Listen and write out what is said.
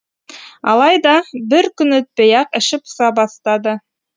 алайда бір күн өтпей ақ іші пыса бастады